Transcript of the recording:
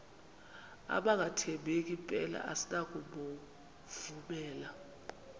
abangathembeki mpela asinakubovumela